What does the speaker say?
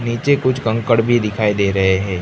नीचे कुछ कंकड़ भी दिखाई दे रहे हैं।